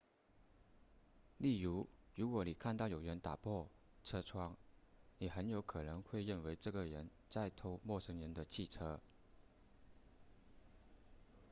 例如如果你看到有人打破车窗你很有可能会认为这个人在偷陌生人的汽车